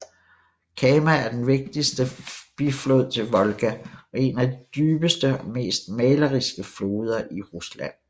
Kama er den vigtigste biflod til Volga og en af de dybeste og mest maleriske floder i Rusland